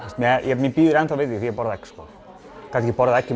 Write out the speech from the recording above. mér býður enn þá við því þegar ég borða egg hef ekki borðað egg í